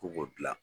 Ko k'o dilan